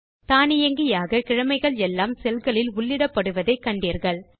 நீங்கள் தானியங்கியாக கிழமைகள் எல்லாம் செல்களில் உள்ளிடப்படுவதை கண்டீர்கள்